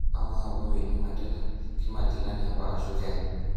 Ama apa Winnie Mandela kimagilani apa ashu kiany?